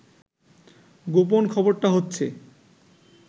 গোপন খবরটা হচ্ছে